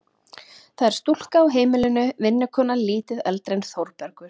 Það er stúlka á heimilinu, vinnukona lítið eldri en Þórbergur.